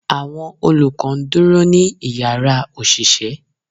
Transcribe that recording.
Awọn olukọ ń duro ni ìyára oṣiṣẹ